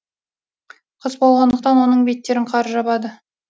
қыс болғандықтан оның беттерін қар жабады